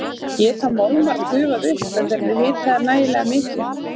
Geta málmar gufað upp ef þeir eru hitaðir nægilega mikið?